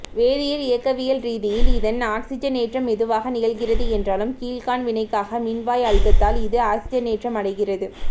வேதியியல் இயக்கவியல் ரீதியில் இதன் ஆக்சிசனேற்றம் மெதுவாக நிகழ்கிறது என்றாலும் கீழ்காண் வினைக்காக மின்வாய் அழுத்தத்தால் இது ஆக்சிசனேற்றம் அடைகிறது